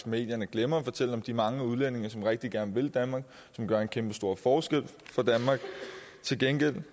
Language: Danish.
medierne glemmer at fortælle om de mange udlændinge som rigtig gerne vil danmark og som gør en kæmpestor forskel for danmark til gengæld vil